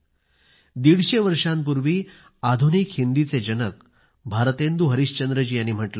दीडशे वर्षांपूर्वी आधुनिक हिंदीचे जनक भारतेंदु हरिश्चंद्रजी ह्यांनी म्हटलं होतं